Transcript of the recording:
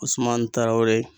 Usumane Tarawele